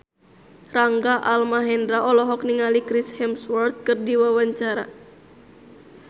Rangga Almahendra olohok ningali Chris Hemsworth keur diwawancara